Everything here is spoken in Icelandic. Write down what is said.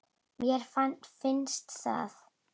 Mér bara finnst það.